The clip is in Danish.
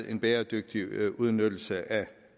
en bæredygtig udnyttelse af